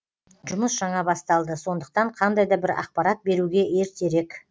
жұмыс жаңа басталды сондықтан қандай да бір ақпарат беруге ертерек